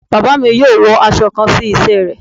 Baba mi yóò wọ aṣọ kàn si iṣẹ́ rẹ